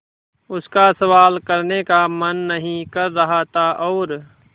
उसका सवाल करने का मन नहीं कर रहा था और